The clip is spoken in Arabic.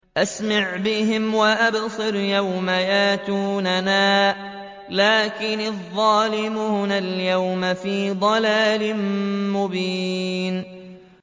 أَسْمِعْ بِهِمْ وَأَبْصِرْ يَوْمَ يَأْتُونَنَا ۖ لَٰكِنِ الظَّالِمُونَ الْيَوْمَ فِي ضَلَالٍ مُّبِينٍ